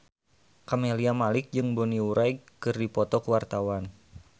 Camelia Malik jeung Bonnie Wright keur dipoto ku wartawan